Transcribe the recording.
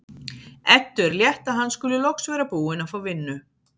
Eddu er létt að hann skuli loks vera búinn að fá vinnu.